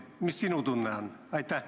Mis sinu tunne on?